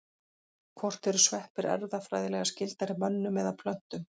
Hvort eru sveppir erfðafræðilega skyldari mönnum eða plöntum?